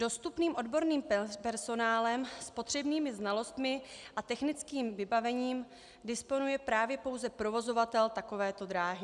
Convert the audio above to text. Dostupným odborným personálem s potřebnými znalostmi a technickým vybavením disponuje právě pouze provozovatel takovéto dráhy.